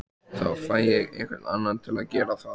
Þá fæ ég einhvern annan til að gera það